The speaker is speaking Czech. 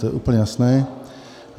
To je úplně jasné.